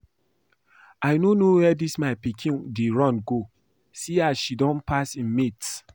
I no know where dis my pikin dey run go, see as she don pass im mates